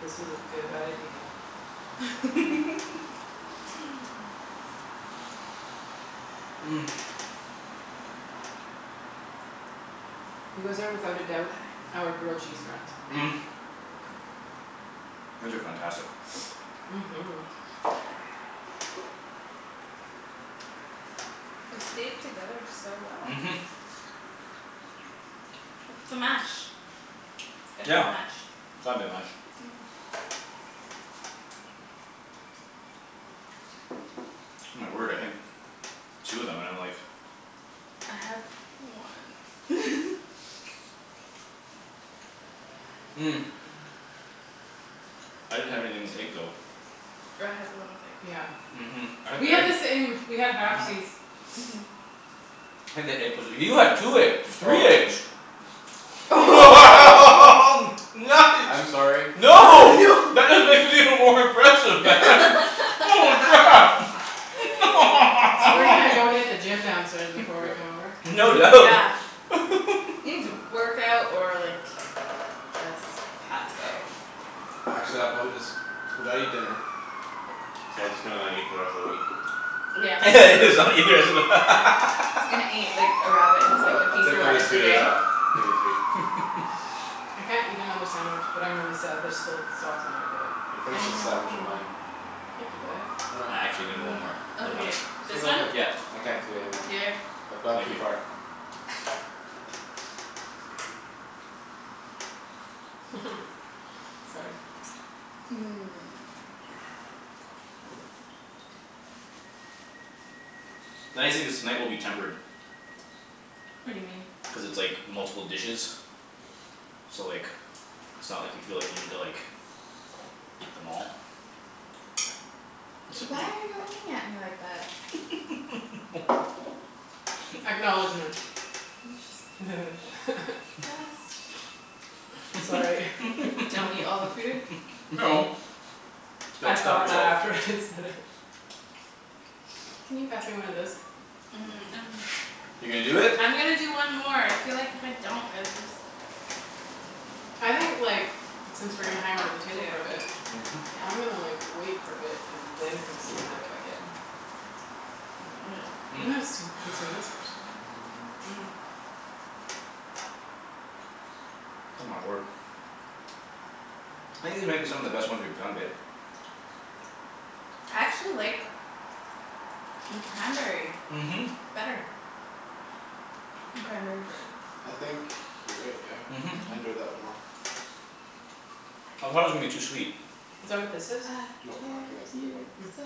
This was a good idea. You guys are without a doubt Aye our grilled cheese friends. These are fantastic. Mhm Yeah They stayed together so well. Mhm. It's the mash. It's gotta be Yeah. the mash. It's gotta be the mash. My word I think two of 'em and I'm like. I had one I didn't have anything with egg though. Oh I had the one with egg. Yeah Mhm I had We the have egg the same. We have mhm halfsies. Mhm I think the egg 'pposed to you had two egg three Stolen. eggs. I'm Nice. sorry. Oh No. no That is even more impressive man. Holy crap. So we're gonna go hit the gym downstairs before we come Yeah over. No Dude doubt. yeah You need to work out or like just pass out. Actually I'll probably just gotta eat dinner So I just gonna not eat for the rest of the week. Yeah just not eat the rest of the Yeah He's gonna eat like a rabbit and just like I'll a like I'll piece take of at least lettuce two a days day. off. Maybe three. I can't eat another sandwich but I'm really sad there's still sauce on my plate. Yo I finish with know sandwich of mine. I can do that. Why I not? actually gonna one more. For the one. Okay, Take this a one? whole thing. Yeah. I can't do anymore. Here I've gone Thank too you. far. Sorry. Nice thing is tonight will be tempered. What do you mean? Cuz it's like multiple dishes. So like it's not like you feel like you need to like Eat them all. Except Why you. are you looking at me like that? Acknowledgment I'm just Just Sorry Don't eat all the food No I Don't stop thought that yourself. after I said it. Can you pass me one of those? Um I'm You're gonna do it? I'm gonna do one more. I feel like if I don't I would just I think like since we're gonna That hang out at the I table for a have bit to I'm gonna Yeah like wait for a bit and then consume that if I can. But I'm gonna still consume this first. Oh my word. I think these might be some of the best ones we've done, babe. I actually like the cranberry Mhm. better. Cranberry bread I think you're right yeah. Mhm I enjoyed that one Mhm. more. I thought it was gonna be too sweet. Is that what this is? I No, I don't told think that's the big you one. so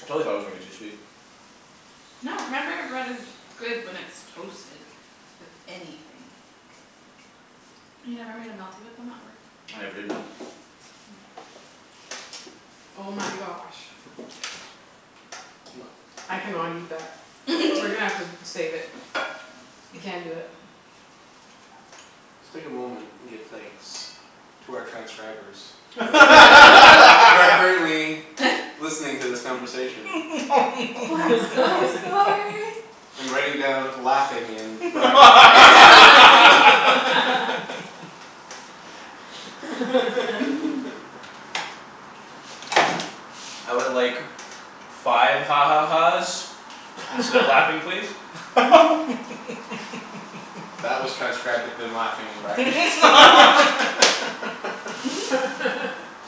I totally thought it was gonna be too sweet. No cranberry bread is good when it's toasted with anything. You never made a melty with them at work? I never did, no. Oh my gosh I cannot eat that. We're gonna have to save it. I can't do it. Just take a moment and give thanks to our transcribers Who are current who are currently Listening to this conversation. Oh I'm so sorry. And writing down "laughing" in brackets and Ian I would like five ha ha ha's Instead of "laughing" please. That was transcribed with the "laughing" in brackets.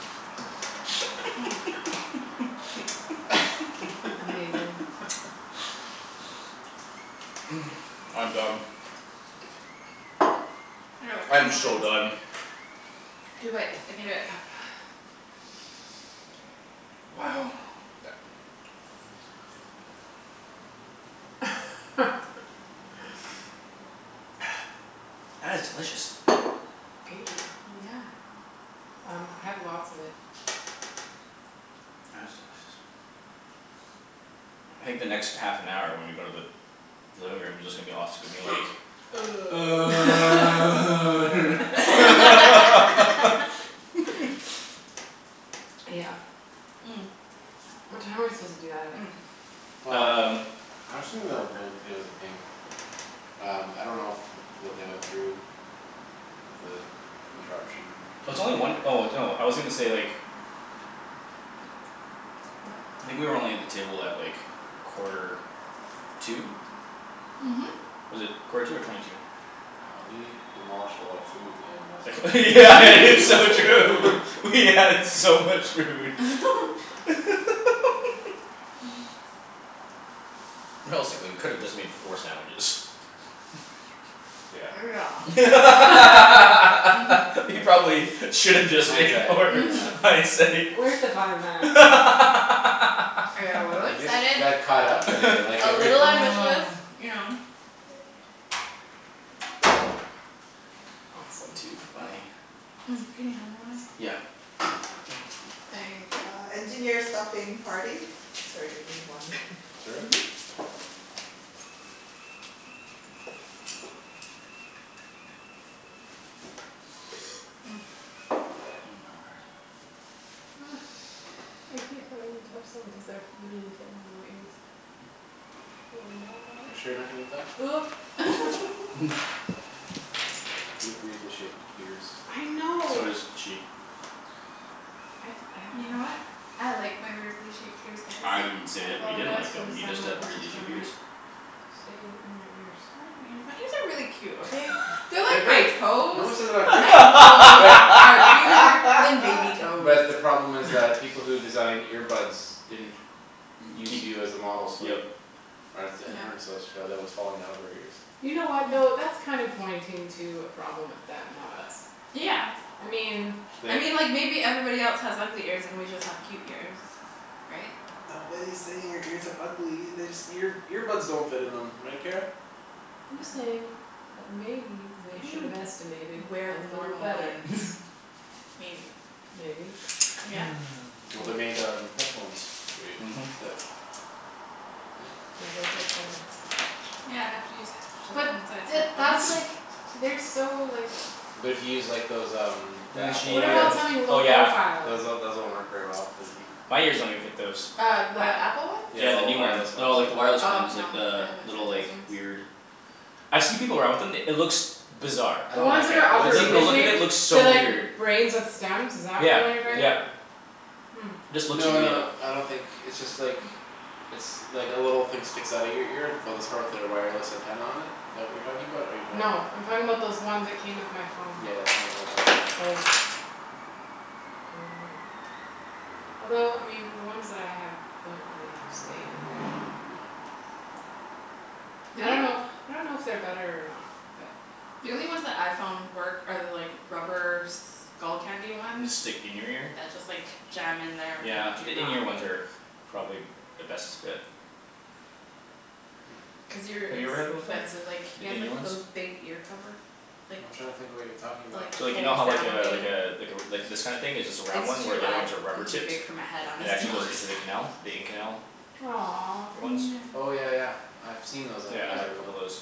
Amazing. I'm done. I can do I'm it. Two more so done. bites. Two bites, I can do it. Yep Wow. That is delicious. Thank you. Yeah Um I have lots of it. That is delicious. I think the next half an hour when we go to the living room is just gonna be us gonna be like Yeah What time are we supposed to do that at? Um Well I actually dunno if they'll give us a ping. Um I don't know if what they went through With the interruption In It's only one there. oh no I was gonna say like I think we were only at the table at like quarter to Mhm Was it quarter to or twenty to? Wow we demolished a lot of food in less than It's so true. We had so much food Realistically we could've just made four sandwiches. Yeah Yeah We Mhm probably should've just Hindsight made four yeah Mhm hindsight. Where's the fun in that? I got a little We just excited. got caught up in it like A everything little ambitious, you know. Awesome. Too funny. Can you me hand one o' Yeah. Thank you. my word. So does she. I didn't say that we didn't like them. You just have weirdly shaped ears. They are great. But the problem is like people who designed ear buds didn't Use Keep you as a model yep so headphones Mhm that But to use like those um Then Those she um uh oh yeah. those one worked very well cuz My ears don't even fit those. Yeah the new ones. No like the wireless ones like the little like weird I've see people around with them it looks Bizarre. Like the look of it looks so weird. Yeah yep. Just looks really uh And stick in your ear? Yeah the in ear ones are probably the best fit. Have you ever had them before? The in ear ones? So like you know how like uh like uh like this kinda thing is just a round one where the other ones are rubber tipped? And actually goes into the canal? The in canal? Ear ones? Yeah I have a couple o' those.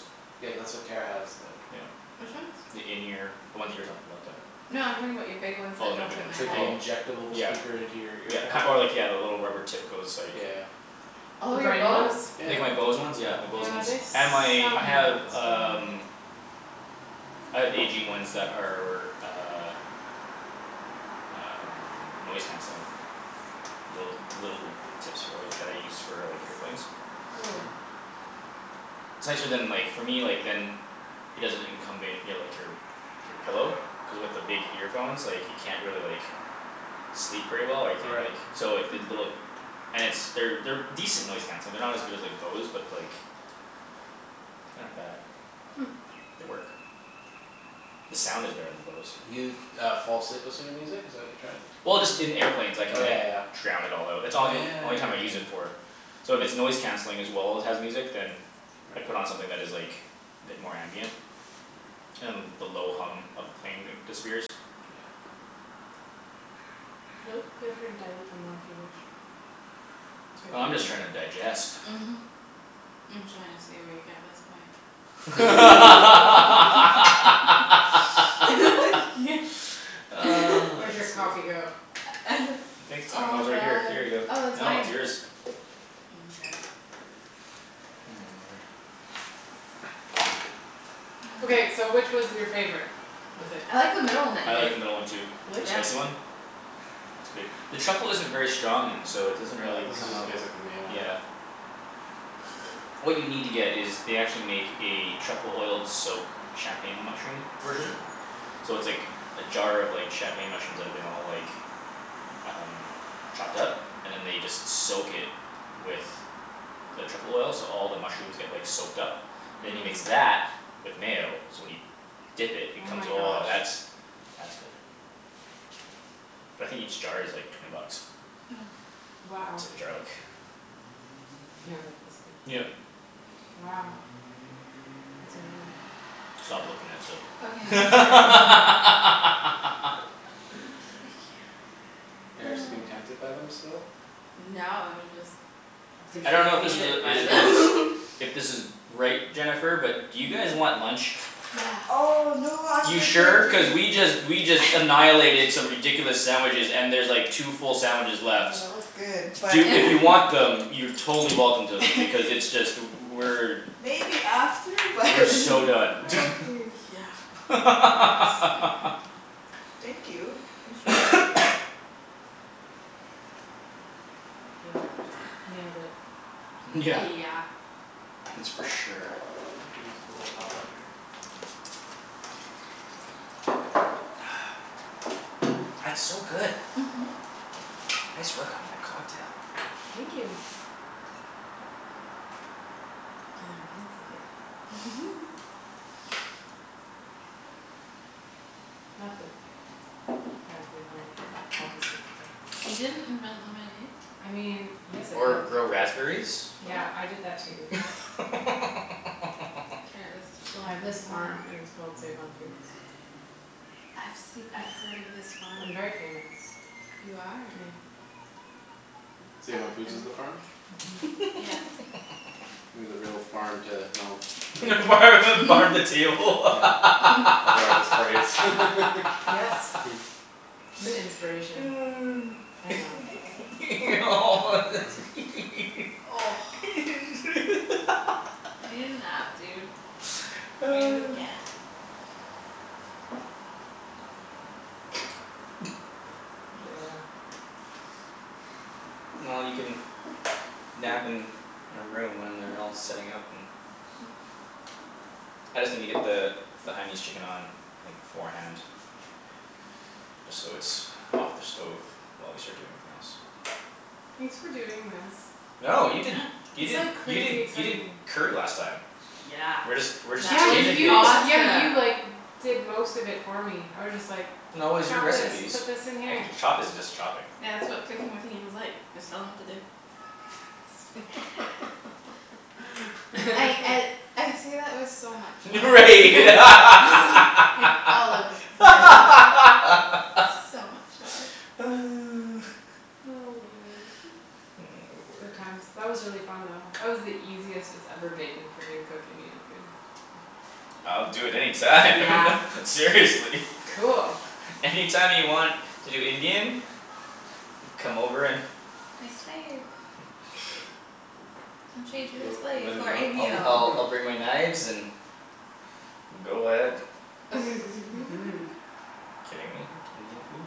Yeah. The in ear. The ones you were talking about that Oh my big ones oh Yeah yeah ki- or like yeah the rubber tip goes like Like my Bose ones yeah my Bose ones and my I have um I have A G ones that are uh Um noise canceling. Little little tips for work that I use for like airplanes. It's nicer than like for me like than It doesn't incumbent your like your Your pillow. Cuz with your big earphones like you can't really like Sleep very well or you can't like so if they little And it's they're they're decent noise canceling. They're not as good as like Bose but like They're not bad. They work. The sound is better than Bose. Well just in airplanes I can like drown it all out. It's all yo- only time I use it for. So if it's noise canceling as well as has music then I put on something that is like a bit more ambient. And the low hum of the plane disappears. Oh I'm just trying to digest. I could sleep. I think it's I kno- oh it's right here here you go no it's yours. word I like the middle one too. The spicy one? It's good. The truffle isn't very strong and so it doesn't really come out. Yeah. What you need to get is they actually make a truffle oiled soak champagne mushroom version. So it's like a jar of champagne mushrooms that have been all like Um chopped up? And then they just soak it with The truffle oil so all the mushrooms get like soaked up And you mix that with mayo so when you Dip it, it comes oh that's that's good But I think each jar is like twenty bucks. It's like a jar like Yep Stop looking at them. I don't know if this is a it is If this is right, Jennifer, but do you guys want lunch? You sure? Cuz we just we just annihilated some ridiculous sandwiches and there's like two full sandwiches left. Do if you want them you're totally welcome to them because it's just we're We're so done YEah That's for sure. That's so good. Nice work on that cocktail. Or grow raspberries? Yeah farm the farm the table Well you can nap in a room when they're all setting up and I just needa get the The Hainanese chicken on like beforehand Just so it's off the stove while we start doing everything else. No you did you did you did you did curry last time. We're just we're just exchanging things. No it was your recipes. I can chopping is just chopping. Right word I'll do it any time Seriously. Any time you want to do Indian. Come over and I'll I'll I'll bring my knives and go ahead. Kidding me? Indian food?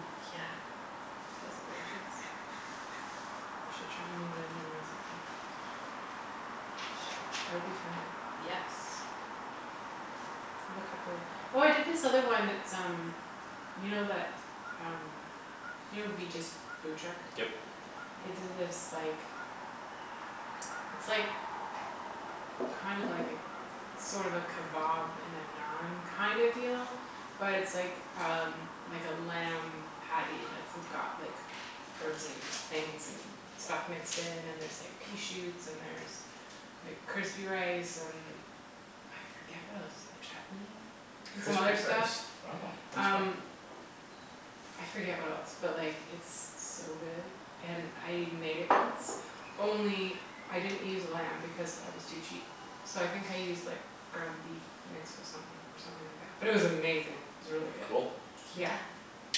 Yep Crispy rice wow that's fun Cool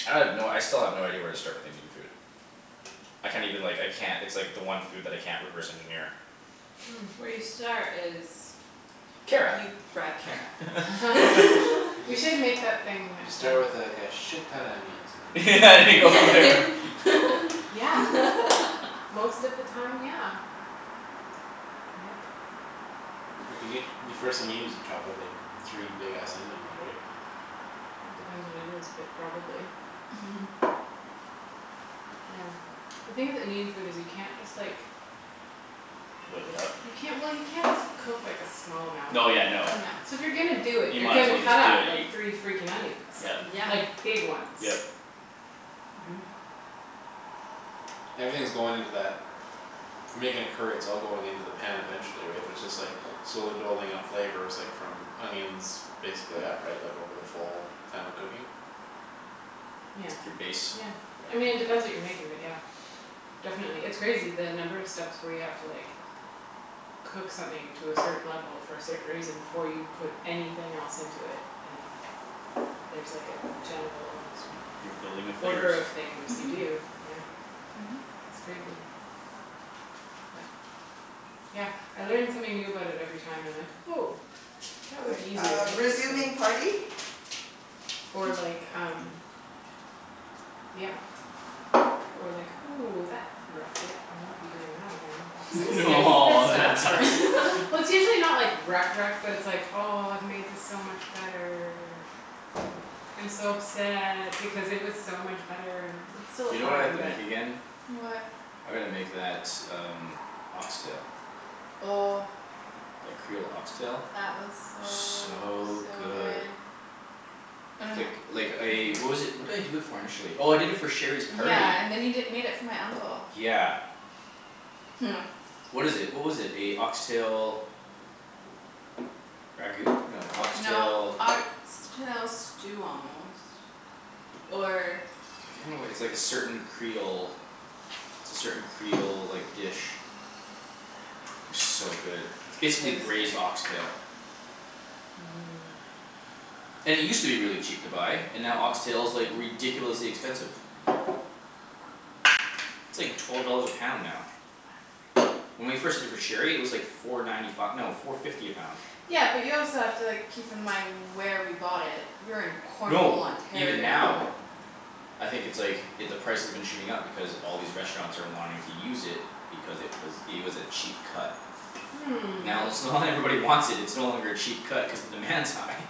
I have no I still have no idea where to start with Indian food. I can't even like I can't it's like the one food that I can't reverse engineer. Kara. and go from there. Whip it up? No yeah no You might as well just do it you Yep. Yep. It's like your base. You're building the flavors. Or like um Yeah Or like, "Ooh that wrecked it I won't be doing that again." It's like skips this Oh that stuff sucks. for Well it's usually not like wrecked wrecked but it's like, "Oh I've made this so much better" "I'm so upset because it was so much better." It's still You know what I have fine to but make again? What? I gotta make that um ox tail. Oh That creole ox tail? That was so So so good. good Oh Like yeah like I what was it what did i do it for initially? Oh I did it for Sherry's party. Yeah and then you di- made it for my uncle Yeah. What is it? What was it? A ox tail Ragout? No a ox tail No ox tail stew almost Or I can't It's like a certain creole it's a certain creole like dish. So good. It's It basically was good. braised ox tail. And it used to be really cheap to buy and now ox tail is like ridiculously expensive. It's like twelve dollars a pound now. When we first did it for Sherry it was like four ninety fi- no four fifty a pound. Yeah but you also have to like keep in mind where we bought it. We were in Cornwall, No, even Ontario. now I think it's like i- the price has been shooting up because all these restaurants are wanting to use it Because it was it was a cheap cut. Hmm Now let's now that everybody wants it it's no longer a cheap cut cuz the demand's high.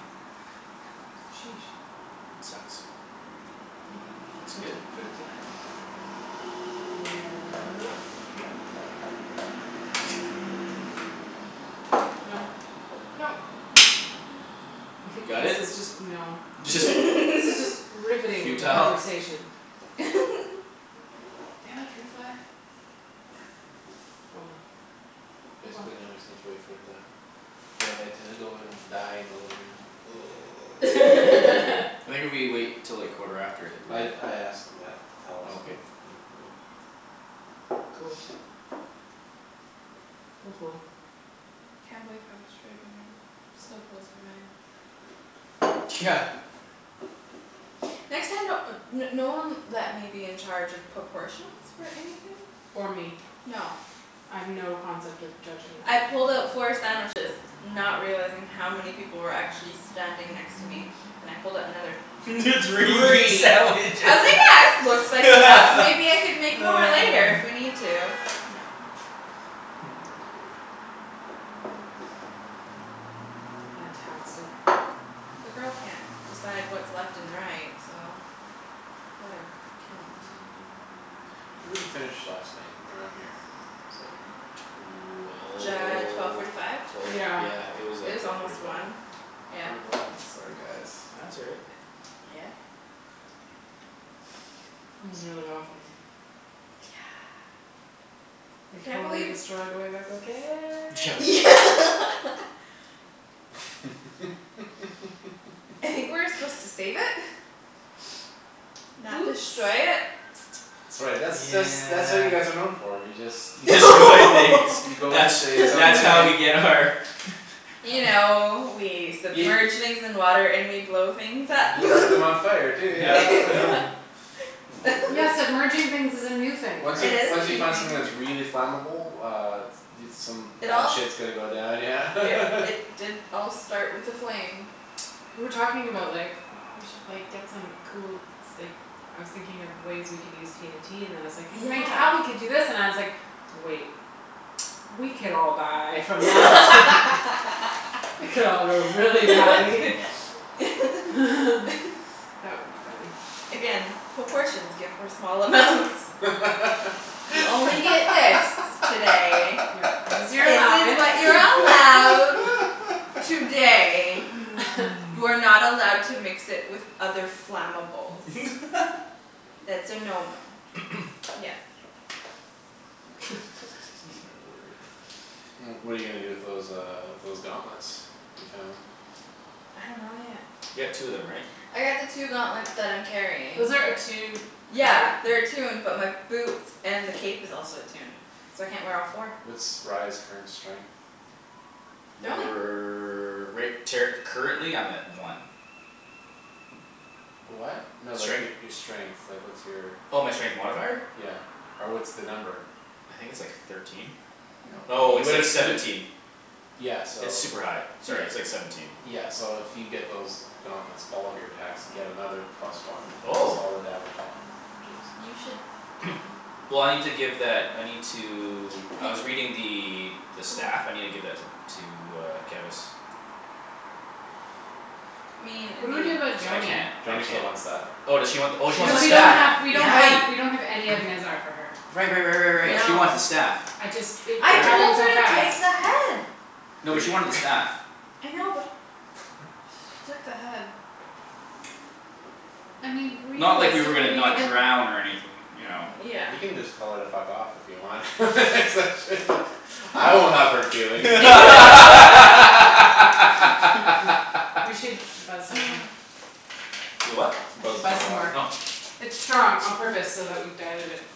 Sheesh It sucks. Yep. It's Left good. in fruit fly. No Nope nope Got This it? is just no this is just riveting Futile? conversation. Damn it fruit fly. Oh well. Oh well. Basically now I just need to wait for it to Go ahead to go and die in the living room I think if we wait 'til like quarter after I think we're I good. I asked them that to tell us Okay. when when we can go Cool Cool cool Can't believe how much food we made. Still blows my mind. Yeah Next time don't uh no one let me be in charge of proportions for anything. Or me No I have no concept of judging I that. pulled out four sandwiches Not realizing how many people were actually standing next to me. Then I pulled out another Three three. I sandwiches. was like yeah this looks like enough maybe I could make more later if we need to. No. Oh my word. Fantastic. The girl can't decide what's left and right so let her count. When did we finish last night around here? It's like Could J- be twelve forty five? Twelve twelve Yeah yeah it was It like was twelve forty almost five. one, yeah. Brutal. Nope Sorry guys No that's all right. Uh yeah This is really awesome. Yeah I We can't totally believe destroyed Wave Echo Yeah Cave. like I think we were supposed to save it Not Oops destroy it. That's right that's that's that's what you guys are known Yeah for, you just You Destroy things. go you go into That's space and that's all how we you need get our You know we Y- submerge things in water and we blow things up You light them on fire too Yep yep. yeah Oh my word. Yeah submerging things is a new thing for Once us. you It is a once you new find something that's thing. really flammable uh Dude some It bad all shit's gonna go down yeah It it did all start with a flame. We were talking about like, "Oh we should like get some cool s- like" I was thinking of ways we can use TNT and then it's like "Then Yeah. Cali could do this" and I was like, "Wait" "We could all die from that" "It could all go really badly" That would be funny. Again, proportions good for small amounts. You only get this today. Yeah. This is your This is allowance. what you're allowed today. You are not allowed to mix it with other flammables. That's a no no. Again. Oh my word. Well what're you gonna do with those um those gauntlets you found? I dunno yet. You got two of them right? I got the two gauntlets that I'm carrying. Those are attuned right? Yeah they're attuned but my boots and the cape is also attuned so I can't wear all four. What's Rye's current strength? They're only We're right ter- currently I'm at one. What? No like Strength? your your strength, like what's your Oh my strength modifier? Yeah or what's the number? I think it's like thirteen? No Oh you it's like would've you seventeen. di- Yeah so It's all super high. right Sorry it's like seventeen. Yeah so if you get those Gauntlets, all of your and get another plus one cuz Oh all the damage is You should take 'em Well I need to give that I need to I He was reading the the Oh stuff. I need to give that to to uh Kevus. I mean What it'd do we do about be Cuz I Joany? can't I Joany still can't wants that Oh does she want She wants the oh she the wants Cuz the we don't staff. have staff we don't yeah have Right. we don't have any of Nezzar for her. Right right right right right she Yep. wants the No staff. I just it I it All right. told happened her so to fast. take the head. You No, but she did. wanted the staff. I know but she took the head I mean Not like we were gonna realistically. not And drown or anyth- you know. Yeah You can just tell her to fuck off if you want Cuz I shouldn't've I won't have hurt feelings We should buzz some more. Y- what? I Buzz should some buzz more some more. Oh water It's strong on purpose so that we dilute it.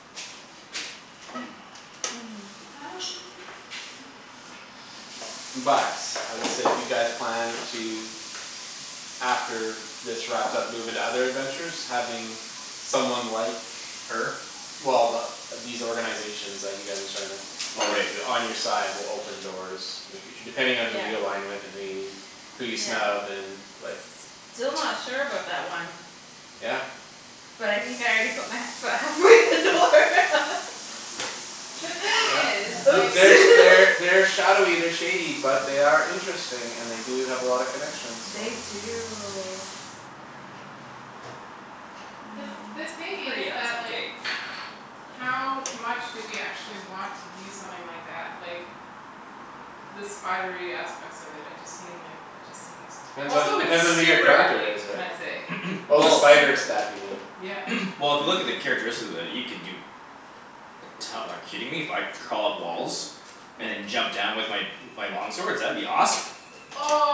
But I will say if you guys plan to After this wrapped up move into other adventures having Someone like Her? Well th- the these organizations you guys are starting up Oh On you right. to on your side will open doors In the future depending Yeah on who you align with and who you Who you Yeah snub and like still not sure about that one Yeah But I think I already put my he- foot halfway in the door The thing Yeah. is like Oops There's They're shadowy they're shady but they are Interesting and they do have a lot of connections so They do I The th- mean the thing is pretty that awesome like cape. How much do we actually want to use something like that? Like The spidery aspects of it I just seem like it just seems Depends on Also it's depends on who your super character ugly is can right? i say? It's Oh the Well spider super. staff you mean Yeah Well if you look at the characteristics of it you can do Like to- like kidding me? If I crawl up walls? And then jump down with my my long swords? That would be awesome.